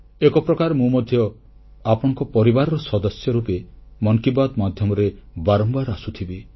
ଏକ ପ୍ରକାର ମୁଁ ମଧ୍ୟ ଆପଣଙ୍କ ପରିବାରର ସଦସ୍ୟ ରୂପେ ମନ୍ କି ବାତ୍ ମାଧ୍ୟମରେ ବାରମ୍ବାର ଆସୁଥିବି